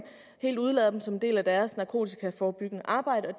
helt udelader dem som en del af deres narkotikaforebyggende arbejde og